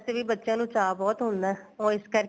ਵੈਸੇ ਵੀ ਬੱਚਿਆਂ ਨੂੰ ਚਾ ਬਹੁਤ ਹੁੰਦਾ ਉਹ ਇਸ ਕਰਕੇ